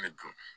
Ne dun